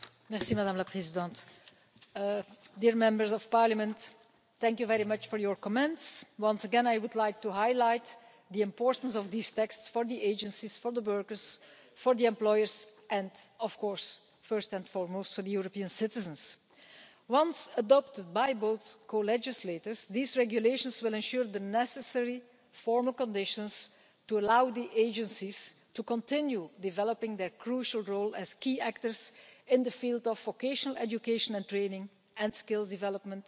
Madam President, I would like to thank the Members very much for their comments. Once again, I would like to highlight the importance of these texts for the agencies, for the workers, for the employers, and of course first and foremost for the European citizens. Once adopted by both co legislators, these regulations will ensure the necessary formal conditions to allow the agencies to continue developing their crucial role as key actors in the field of vocational education and training and skills development